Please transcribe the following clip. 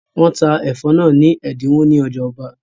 Wọ́n ta ẹ̀fọ́ náà ni ẹ̀dínwó ní ọjà ọba